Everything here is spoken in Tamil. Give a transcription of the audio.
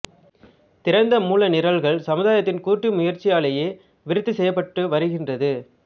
திறந்த மூல நிரல்கள் சமுதாயத்தின் கூட்டு முயற்சியாலேயே விருத்தி செய்யப் பட்டு வருகின்றது